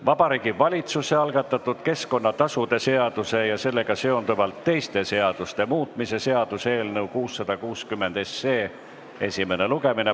Vabariigi Valitsuse algatatud keskkonnatasude seaduse ja sellega seonduvalt teiste seaduste muutmise seaduse eelnõu 660 esimene lugemine.